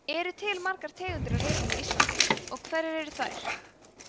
eru til margar tegundir af refum á íslandi og hverjar eru þær